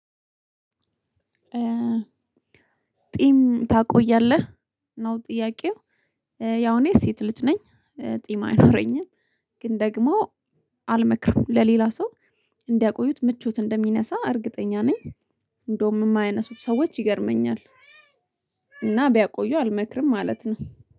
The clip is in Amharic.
ጥይም ታቆያለህ? ነው ጥያቄው? ያው እኔ ሴት ልጅ ነኝ። ጢም አይኖረኝም። ግን ደግሞ አልመክርም ለሌላ ሰው እንዲያቆዩት ምቾት እንደሚነሳ እርግጠኛ ነኝ። እንደውም የማያነሱት ሰዎች ይገርመኛል። እና ቢያቆዩ አልመክርም ማለት ነው።